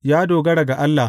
Ya dogara ga Allah.